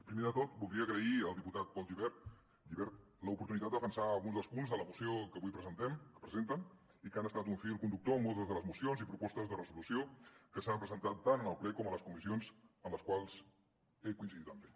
primer de tot voldria agrair al diputat pol gibert l’oportunitat de defensar alguns dels punts de la moció que avui presenten i que han estat un fil conductor en moltes de les mocions i propostes de resolució que s’han presentat tant al ple com a les comissions en les quals he coincidit amb ell